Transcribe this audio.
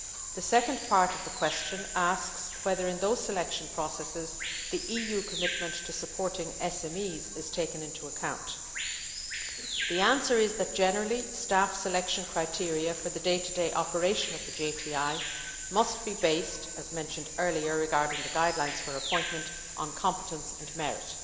The second part of the question asks whether in those selection processes, the EU commitment to supporting SMEs is taken into account. The answer is that, generally, staff selection criteria for the day to day operation of the JTI must be based as mentioned earlier regarding the guidelines for appointment on competence and merit.